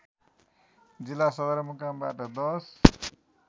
जिल्ला सदरमुकामबाट १०